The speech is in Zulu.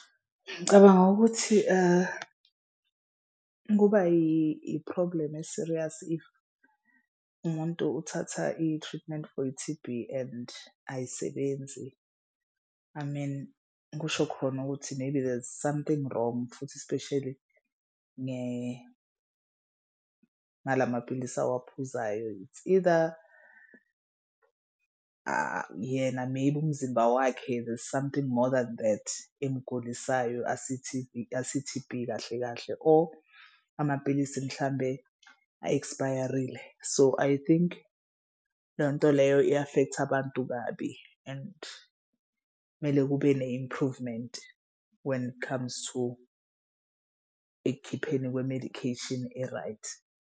Ngicabanga ukuthi kuba i-problem e-serious if umuntu uthatha i-treatment for i-T_B and ayisebenzi I mean kusho khona ukuthi maybe there's something wrong futhi especially ngalamapilisi awaphuzayo. It's either yena maybe umzimba wakhe there's something more than that emgulisayo asi-T_B asi-T_B kahle kahle or amapilisi mhlambe a-expire-rile. So I think leyo nto leyo i-affect-a abantu kabi and kumele kube ne-improvement when it comes to ekukhipheni kwe-medication e-right.